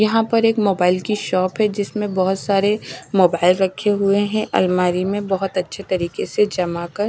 यहां पर एक मोबाइल की शॉप है जिसमें बोहोत सारे मोबाइल रखे हुए हैं अलमारी में बहोत अच्छे तरीके से जमा कर।